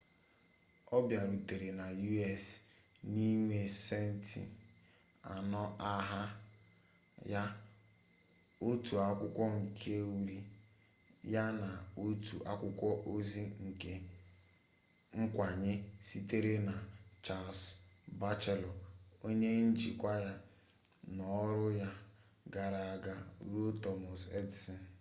ọ bịarutere na us n’inwe centị anọ n’aha ya otu akwụkwọ nke uri ya na otu akwụkwọ ozi nke nkwanye sitere na charles batchelor onye njikwa ya n’ọrụ ya gara aga ruo thomas edison